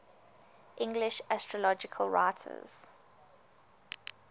english astrological writers